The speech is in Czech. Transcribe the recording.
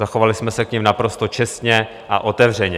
Zachovali jsme se k nim naprosto čestně a otevřeně.